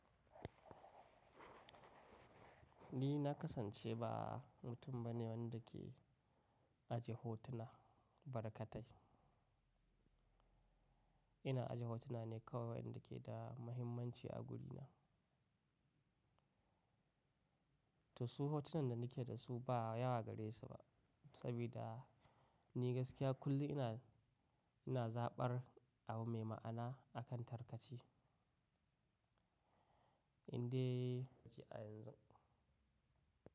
Ni na kasance ba mutum ba ne wanda ke ajiye hotuna barkatai. Ina ajiye hotuna ne kawai wayanda ke da muhimmanci a gurina. To su hotunan da ni ke da su ba yawa gare su ba, sabida ni gaskiya kullum ina, ina zaɓar abu mai ma'ana akan tarkace. Inde a yanzu.